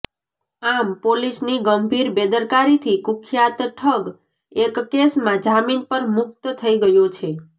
આમ પોલીસની ગંભીર બેદરકારીથી કુખ્યાત ઠગ એક કેસમાં જામીન પર મુકત થઈ ગયો છે